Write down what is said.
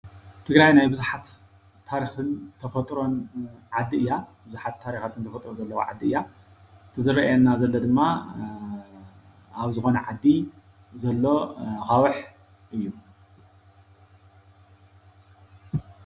ትግራይ ናይ ቡዙሓት ታሪክን ተፈጥሮን ዓዲ እያ፡፡ ቡዙሓት ታሪካትን ተፈጥሮን ዘለዋ ዓዲ እያ፡፡ እቲ ዝረአየና ዘሎ ድማ ኣብ ዝኮነ ዓዲ ዘሎ ኣካውሕ እዩ፡፡